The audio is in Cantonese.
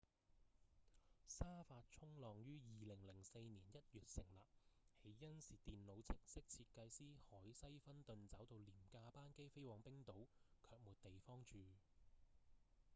沙發衝浪於2004年1月成立起因是電腦程式設計師凱西‧芬頓找到廉價班機飛往冰島卻沒地方住